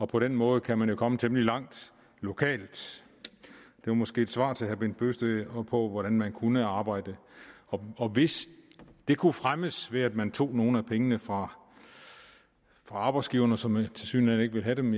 på den måde kan man komme temmelig langt lokalt det var måske et svar til herre bent bøgsted på på hvordan man kunne arbejde og hvis det kunne fremmes ved at man tog nogle af pengene fra arbejdsgiverne som tilsyneladende ikke vil have dem